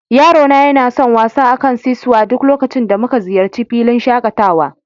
Yaro na yana son yin wasa a kan "seasaw" duk lokacin da muka ziyarci filin shakatawa.